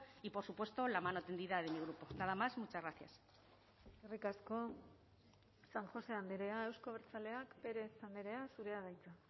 y por supuesto la mano tendida de mi grupo nada más muchas gracias eskerrik asko san josé andrea euzko abertzaleak pérez andrea zurea da hitza